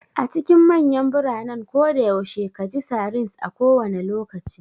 A cikin manyan biranen koda yaushe ka ji sirens a kowane lokaci.